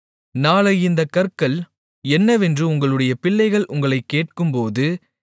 நாளை இந்தக் கற்கள் என்னவென்று உங்களுடைய பிள்ளைகள் உங்களைக் கேட்கும்போது